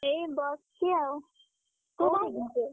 ଏଇ ବସଚି ଆଉ ।